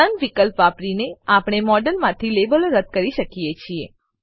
નોને વિકલ્પ વાપરીને આપણે મોડેલમાંથી લેબલો રદ્દ કરી શકીએ છીએ